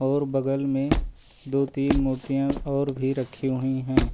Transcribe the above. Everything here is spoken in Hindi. और बगल में दो तीन मूर्तियां और भी रखी हुई हैं।